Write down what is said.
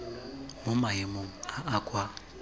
mo maemong a a kwa